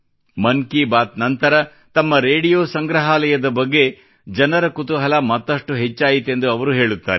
ಮನ್ ಕಿ ಬಾತ್ ನಂತರ ತಮ್ಮ ರೇಡಿಯೋ ಸಂಗ್ರಹಾಲಯದ ಬಗ್ಗೆ ಜನರ ಕುತೂಹಲ ಮತ್ತಷ್ಟು ಹೆಚ್ಚಾಯಿತೆಂದು ಅವರು ಹೇಳುತ್ತಾರೆ